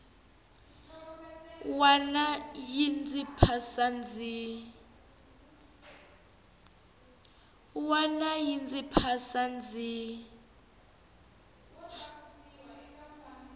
wana yi ndzi phasa ndzi